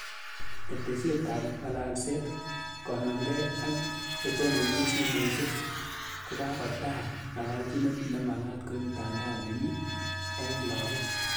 Ketesyet ap ng'alalseet konamegei ak chetonoonchini simoisiek, kokagotaai ng'alalchinet nemagaat koib mtandao nemyie eng' lagook.